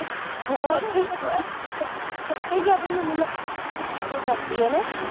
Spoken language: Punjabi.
ਕਰਦੀ ਐ ਹੈਨਾ